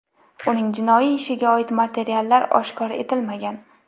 Uning jinoiy ishiga oid materiallar oshkor etilmagan.